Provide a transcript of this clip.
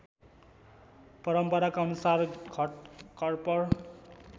परम्पराका अनुसार घटकर्पर